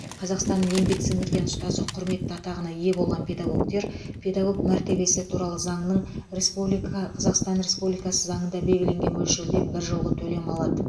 қазақстанның еңбек сіңірген ұстазы құрметті атағына ие болған педагогтер педагог мәртебесі туралы заңның республика қазақстан республикасы заңында белгіленген мөлшерде бір жолғы төлем алады